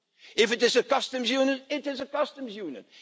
If it is a customs union, it is a customs union.